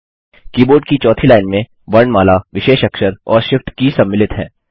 keyboard की चौथी line में वर्णमाला विशेष अक्षर और shift की सम्मिलित हैं